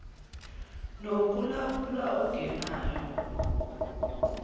noku lawula okungena